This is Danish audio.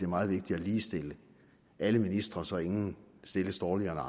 meget vigtigt at ligestille alle ministre så ingen stilles dårligere